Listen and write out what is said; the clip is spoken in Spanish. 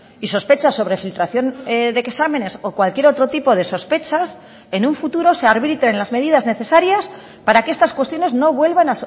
y sospechas sobre filtración de exámenes o cualquier otro tipo de sospechas en un futuro se arbitren las medidas necesarias para que estas cuestiones no vuelvan